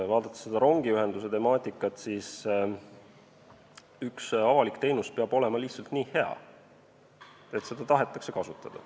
Rääkides rongiühendusest, üks avalik teenus peab olema lihtsalt nii hea, et seda tahetakse kasutada.